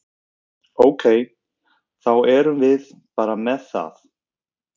Ok, þá erum við bara með það?